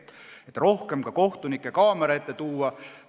Oleme üritanud rohkem kohtunikke ka kaamera ette tuua.